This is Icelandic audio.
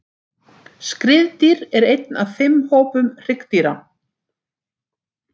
Skriðdýr er einn af fimm hópum hryggdýra.